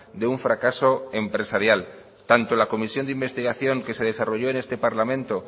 de un fracaso empresarial tanto la comisión de investigación que se desarrolló en este parlamento